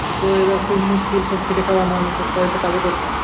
তো এটা তো মুশকিল। সব খেটে খাওয়া মানুষ, এত পয়সা পাবে কোথায়?